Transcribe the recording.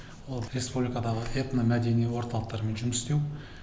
ал республикадағы этно мәдени орталықтармен жұмыс істеу